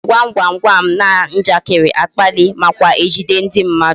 E ji gwam gwam gwam na njakịrị akpalị nakwa ejide ndị mmadụ